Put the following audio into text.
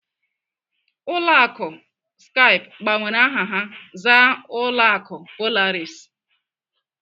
Ụlọ akụ Skype gbanwere aha ha zaa ụlọ akụ Polaris.